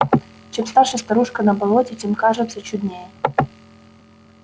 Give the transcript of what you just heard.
чем старше старушка на болоте тем кажется чуднее